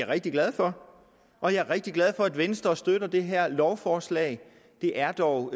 rigtig glad for og jeg er rigtig glad for at venstre støtter det her lovforslag det er dog